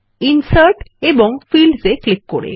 insert ও fields এ click করে